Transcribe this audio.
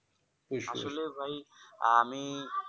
আসলে ভাই আমি